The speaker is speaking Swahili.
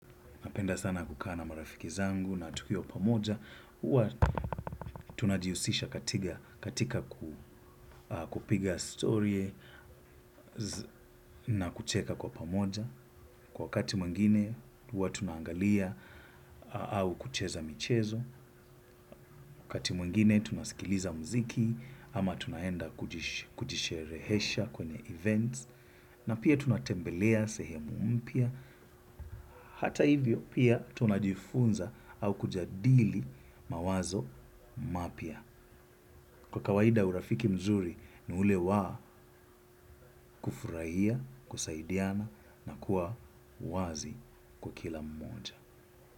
Napenda sana kukaa na marafiki zangu na tukiwa pamoja, huwa tunajihusisha katika kupiga story na kucheka kwa pamoja. Kwa wakati mwingine, huwa tunaangalia au kucheza michezo. Wakati mwingine, tunasikiliza muziki ama tunaenda kujisherehesha kwenye events. Na pia tunatembelea sehemu mpya hata hivyo pia tunajifunza au kujadili mawazo mapya. Kwa kawaida urafiki mzuri ni ule wa kufurahia, kusaidiana na kuwa wazi kwa kila mmoja.